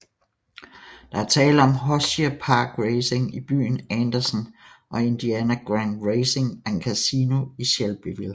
Der er tale om Hoosier Park Racing i byen Andersen og Indiana Grand Racing and Casino i Shelbyville